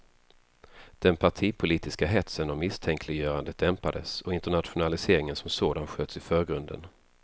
Den partipolitiska hetsen och misstänkliggörandet dämpades och internationaliseringen som sådan sköts i förgrunden.